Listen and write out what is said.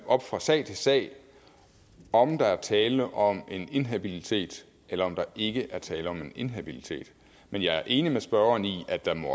op fra sag til sag om der er tale om en inhabilitet eller om der ikke er tale om en inhabilitet men jeg er enig med spørgeren i at der